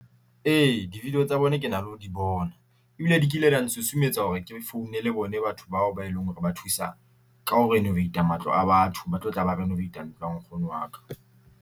E, di-video tsa bona, ke na le ho di bona, ebile di kile da nsusumetsa hore ke founele bone batho bao ba e leng hore ba thusa ka ho renovate-a matlo a batho. Ba tlo tla ba renovate-a ntlo ya nkgono wa ka.